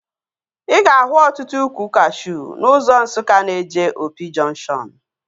Ị ga-ahụ ọtụtụ ukwu kashuu n'ụzọ Nsukka na-eje Opi jọnkshọn